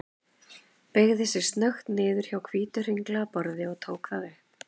Beygði sig snöggt niður hjá hvítu, hringlaga borði og tók það upp.